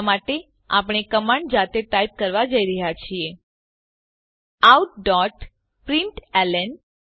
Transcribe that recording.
હમણાં માટે આપણે કમાંડ જાતે ટાઈપ કરવાં જઈ રહ્યા છીએ outપ્રિન્ટલન